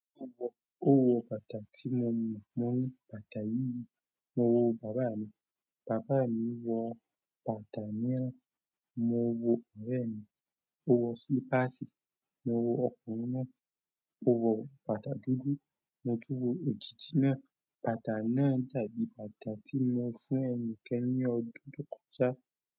Ó wọ bàtà tí mo wọ, mo ń wọ bàtà yìí, mo wọ bàbá mi, bàbá mi wọ bàtà miran, mo wọ ọ̀rẹ́ mi, ó wọ slípàsì, mo wọ ọkùnrin náà, ó wọ bàtà dúdú, mo tún wọ òjìji náà, bàtà náà dàbí bàtà tí mo fún ẹnikan ní ọdún tó kọjá.